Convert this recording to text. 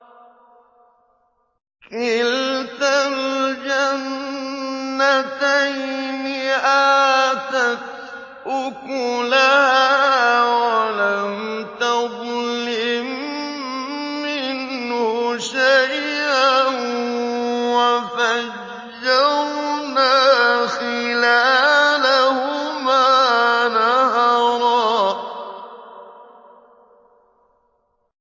كِلْتَا الْجَنَّتَيْنِ آتَتْ أُكُلَهَا وَلَمْ تَظْلِم مِّنْهُ شَيْئًا ۚ وَفَجَّرْنَا خِلَالَهُمَا نَهَرًا